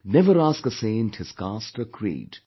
Never ask a saint his caste or creed;